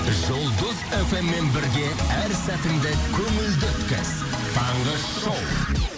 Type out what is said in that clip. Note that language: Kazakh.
жұлдыз фммен бірге әр сәтіңді көңілді өткіз таңғы шоу